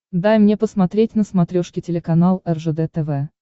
дай мне посмотреть на смотрешке телеканал ржд тв